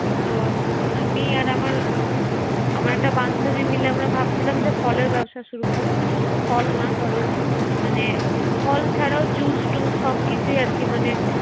তো আমি আর আমার ¬আমার একটা বান্ধুবি মিলে ভাবছিলাম যে ফলের ব্যবসা শুরু করব, মানে শুধু ফল না ধর মানে ফল ছাড়াও জুসটুস সবকিছু আরকি মানে